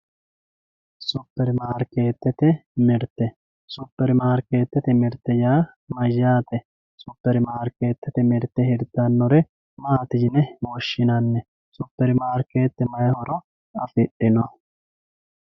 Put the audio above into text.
supermaarikeetete mirte supermaarikeetete mirte yaa mayaate supermaarikeetete mirte hirtannore maati yine woshshinanni supermaarikeete mayi horo afidhino.